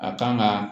A kan ka